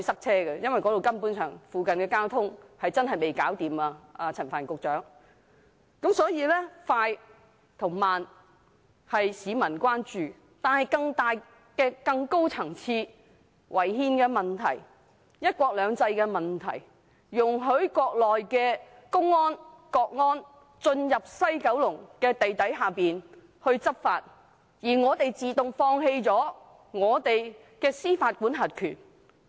所以，雖然高鐵計劃落實的快慢為市民所關注，但"三步走"方案存在更大、更高層次的違憲問題及"一國兩制"問題，既容許國內的公安、國家安全部人員進入西九龍的地底執法，我們又自動放棄了司法管轄權。